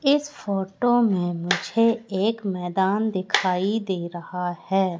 इस फोटो में मुझे एक मैदान दिखाई दे रहा है।